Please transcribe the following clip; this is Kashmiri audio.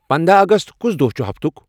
پنداہ اگست کُس دوہ چُھ ہفتُک ؟